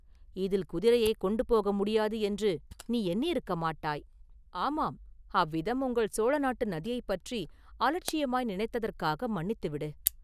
இதில் குதிரையைக் கொண்டு போக முடியாது என்று நீ எண்ணியிருக்கமாட்டாய்!” “ஆமாம்; அவ்விதம் உங்கள் சோழ நாட்டு நதியைப் பற்றி அலட்சியமாய் நினைத்ததற்காக மன்னித்துவிடு!